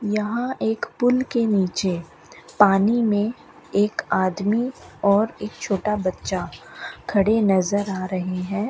यहां एक पुल के नीचे पानी में एक आदमी और एक छोटा बच्चा खड़े नजर आ रहे है।